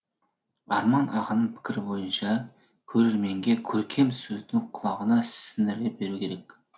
арман ағаның пікірі бойынша көрерменге көркем сөзді құлағына сіңіре беру керек